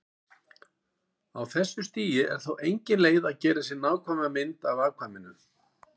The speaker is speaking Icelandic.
Á þessu stigi er þó engin leið að gera sér nákvæma mynd af afkvæminu.